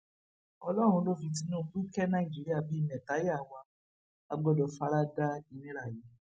ọlọrun ló fi tinubu ké nàìjíríà bíi mẹtayàwá a gbọdọ fara da ìnira yìí